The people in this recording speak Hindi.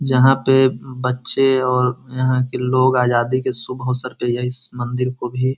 जहाँ पे बच्चे और यहाँ के लोग आजादी के शुभ अवसर पे ये इस मंदिर को भी --